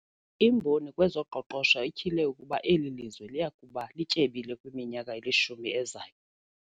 Imboni kwezoqoqosho ityhile ukuba eli lizwe liya kuba lityebile kwiminyaka elishumi ezayo.